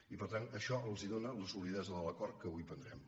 i per tant això els dóna la solidesa de l’acord que avui prendrem